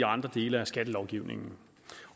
i andre dele af skattelovgivningen